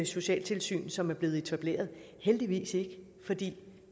socialtilsyn som er blevet etableret heldigvis ikke fordi